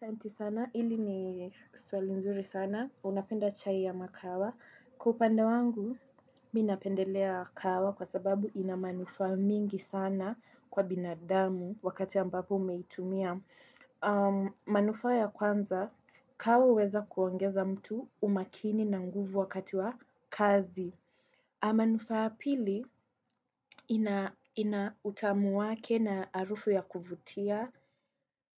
Santi sana, hili ni swali nzuri sana. Unapenda chai ya makawa. Kwa upande wangu, mi napendelea kahawa kwa sababu inamanufaa mingi sana kwa binadamu wakati ambapo umeitumia. Manufaa ya kwanza kahawa huweza kuongeza mtu umakini na nguvu wakati wa kazi manufaa ya pili ina utamu wake na arufu ya kuvutia